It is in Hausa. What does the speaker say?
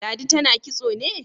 Ladi tana kitso ne?